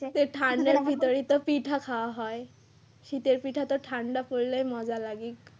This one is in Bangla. তো ঠান্ডার ভিতরে তো পিঠা খাওয়া হয় শীতের পিঠা তো ঠান্ডা পড়লে মজা লাগে।